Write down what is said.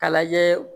Ka lajɛ